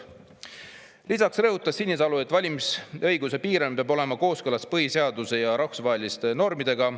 " Lisaks rõhutas Sinisalu, et valimisõiguse piirang peab olema kooskõlas põhiseaduse ja rahvusvaheliste normidega.